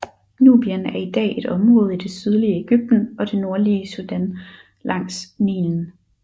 Nubien er i dag et område i det sydlige Egypten og det nordlige Sudan langs Nilen